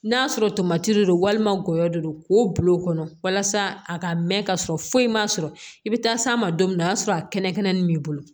N'a sɔrɔ tomati de don walima gɔyɔ de don k'o bil'o kɔnɔ walasa a ka mɛn ka sɔrɔ foyi ma sɔrɔ i bɛ taa s'a ma don min o y'a sɔrɔ a kɛnɛkɛnɛ nin b'i bolo